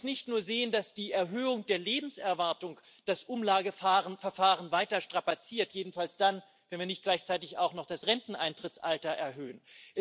Man muss nicht nur sehen, dass die Erhöhung der Lebenserwartung das Umlageverfahren weiter strapaziert, jedenfalls dann, wenn wir nicht gleichzeitig auch noch das Renteneintrittsalter erhöhen.